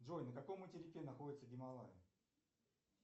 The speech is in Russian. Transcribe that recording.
джой на каком материке находятся гималаи